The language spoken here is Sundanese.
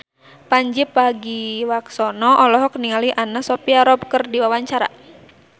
Pandji Pragiwaksono olohok ningali Anna Sophia Robb keur diwawancara